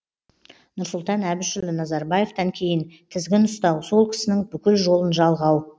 нұрсұлтан әбішұлы назарбаевтан кейін тізгін ұстау сол кісінің бүкіл жолын жалғау